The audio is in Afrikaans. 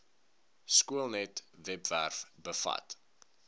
skoolnet webwerf bevat